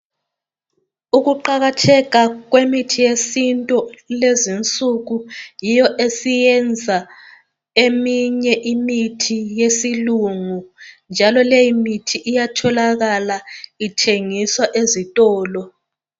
Ukuqakatheka kwemithi yesintu kulezi insuku yiyo esiyenza eminye imithi yesilungu njalo leyi mithi iyatholakala ithengiswa ezitolo